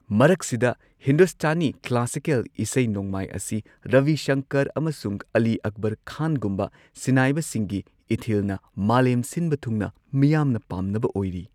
ꯃꯔꯛꯁꯤꯗ, ꯍꯤꯟꯗꯨꯁꯇꯥꯅꯤ ꯀ꯭ꯂꯥꯁꯤꯀꯦꯜ ꯏꯁꯩ ꯅꯣꯡꯃꯥꯏ ꯑꯁꯤ ꯔꯕꯤ ꯁꯪꯀꯔ ꯑꯃꯁꯨꯡ ꯑꯂꯤ ꯑꯛꯕꯔ ꯈꯥꯟꯒꯨꯝꯕ ꯁꯤꯟꯅꯥꯏꯕꯁꯤꯡꯒꯤ ꯏꯊꯤꯜꯅ ꯃꯥꯂꯦꯝ ꯁꯤꯟꯕ ꯊꯨꯡꯅ ꯃꯤꯌꯥꯝꯅ ꯄꯥꯝꯅꯕ ꯑꯣꯢꯔꯤ꯫